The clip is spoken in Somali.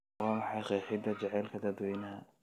Waa maxay qeexidda jacaylka dadweynaha?